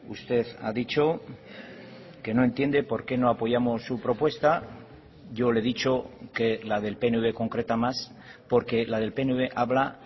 usted ha dicho que no entiende por qué no apoyamos su propuesta yo le he dicho que la del pnv concreta más porque la del pnv habla